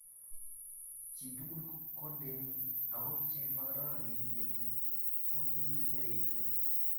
Chii tugul Kondeni okot che makararan metit ko ki nerekyo.